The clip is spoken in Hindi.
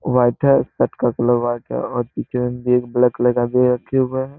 व्हाइट है शर्ट का कलर व्हाइट है और पीछे में बैग ब्लैक कलर का भी रखे हुए है।